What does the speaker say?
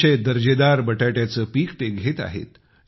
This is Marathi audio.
अतिशय दर्जेदार बटाट्याचे पीक ते घेत आहेत